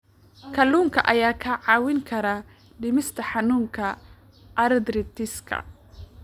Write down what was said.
Kalluunka ayaa kaa caawin kara dhimista xanuunka arthritis-ka.